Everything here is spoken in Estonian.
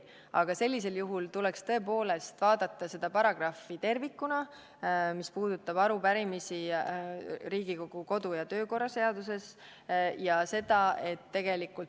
Aga sellisel juhul tuleks tõepoolest vaadata tervikuna seda paragrahvi, mis puudutab arupärimisi Riigikogu kodu- ja töökorra seaduses.